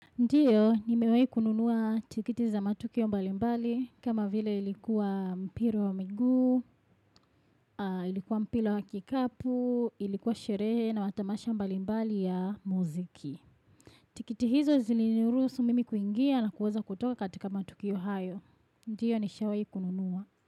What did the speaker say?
Ndiyo, nimewai kununua tikiti za matukio mbalimbali kama vile ilikuwa mpira wa miguu, ilikuwa mpila wa kikapu, ilikuwa sherehe na watamasha mbali mbali ya muziki. Tikiti hizo zilinurusu mimi kuingia na kuweza kutoka katika matukio hayo. Ndiyo, nishawai kununua.